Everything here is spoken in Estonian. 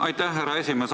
Aitäh, härra esimees!